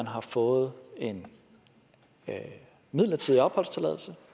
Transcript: har fået en midlertidig opholdstilladelse